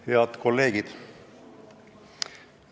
Head kolleegid!